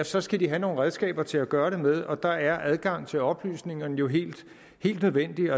så skal de have nogle redskaber til at gøre det med og der er adgang til oplysningerne jo helt nødvendige